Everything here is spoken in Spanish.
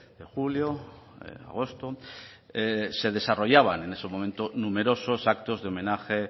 de julio agosto se desarrollaban en ese momento numerosos actos de homenaje